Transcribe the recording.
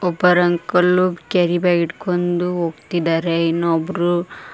ಇಬ್ಬರು uncle carry bag ಹಿಡ್ಕೊಂಡು ಹೋಗ್ತಿದ್ದಾರೆ ಇನ್ನೊಬ್ರು--